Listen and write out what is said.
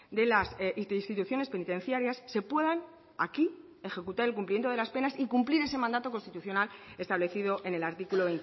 de las instituciones penitenciarias se puedan aquí ejecutar el cumplimiento de las penas y cumplir ese mandato constitucional establecido en el artículo